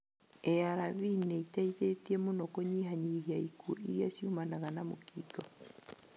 ARV nĩ iteithĩtie mũno kũnyihanyihia ikuũ iria ciumanaga na mũkingo.